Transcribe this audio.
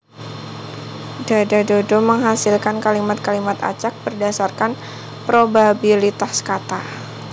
DadaDodo menghasilkan kalimat kalimat acak berdasarkan probabilitas kata